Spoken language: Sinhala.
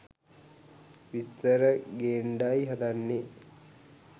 විස්තර ගේන්ඩයි හදන්නේ.